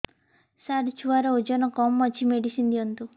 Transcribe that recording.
ସାର ଛୁଆର ଓଜନ କମ ଅଛି ମେଡିସିନ ଦିଅନ୍ତୁ